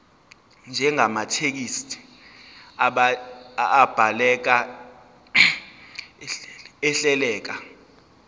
njengamathekisthi abhaleke ahleleka